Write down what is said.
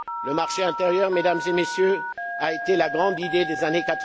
Le marché intérieur, Mesdames et Messieurs, a été la grande idée des